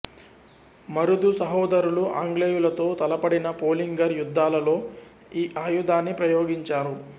మరుదు సహోదరులు ఆంగ్లేయులతో తలపడిన పొలింగర్ యుద్ధాలలో ఈ ఆయుధాన్ని ప్రయోగించారు